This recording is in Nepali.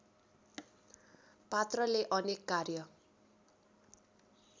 पात्रले अनेक कार्य